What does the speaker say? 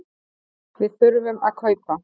Við þurfum að kaupa.